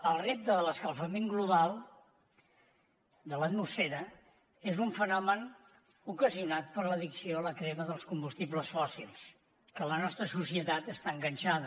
el repte de l’escalfament global de l’atmosfera és un fenomen ocasionat per l’addicció a la crema dels combustibles fòssils a què la nostra societat està enganxada